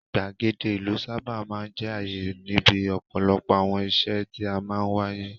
Ìgbàgede ìlú sábà máa ń jẹ́ àyè níbi ọ̀pọ̀lọpọ̀ àwọn ìṣe tí máa ń wáyé.